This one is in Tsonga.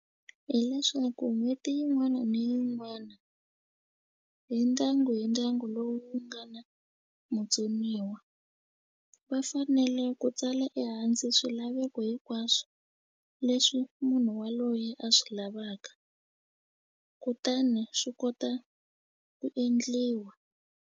Hi leswaku n'hweti yin'wana ni yin'wana hi ndyangu hi ndyangu lowu wu nga na vutsoniwa va fanele ku tsala ehansi swilaveko hinkwaswo leswi munhu waloye a swi lavaka kutani swi kota ku endliwa.